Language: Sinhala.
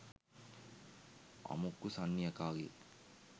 අමුක්කු සන්නි යකාගේ